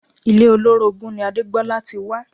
Ilé olórogún ni Adégbolá ti wá